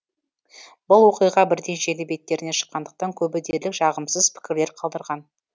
бұл оқиға бірден желі беттеріне шыққандықтан көбі дерлік жағымсыз пікірлер қалдырған